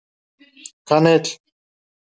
Kanill var þó ekki einungis notaður sem krydd.